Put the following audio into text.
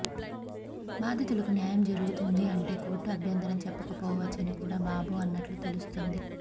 బాధితులకి న్యాయం జరుగుతుంది అంటే కోర్టు అభ్యంతరం చెప్పకపోవచ్చని కూడా బాబు అన్నట్లు తెలుస్తుంది